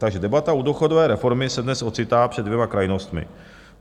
Tak debata u důchodové reformy se dnes ocitá před dvěma krajnostmi.